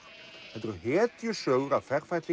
þetta eru hetjusögur af